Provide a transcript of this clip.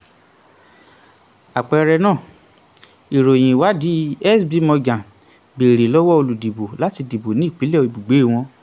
àpẹẹrẹ náà: ìròyìn um ìwádìí sb morgen bèrè lọ́wọ́ olùdìbò láti um dìbò ní ìpínlẹ̀ ibùgbé wọn.